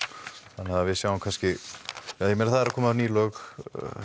þannig við sjáum kannski eða ég meina það eru að koma ný lög